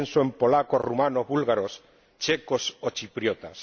Pienso en polacos, rumanos, búlgaros, checos o chipriotas.